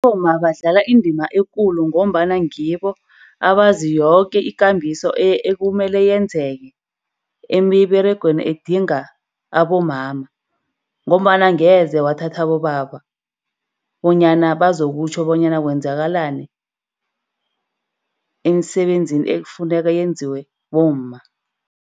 Bomma badlala indima ekulu, ngombana ngibo abazi yoke ikambiso ekumele yenzeke emiberegweni edinga abomama. Ngombana angeze wathatha abobaba bonyana bazokutjho bonyana kwenzakalani emsebenzini ekufuneka yenziwe bomma.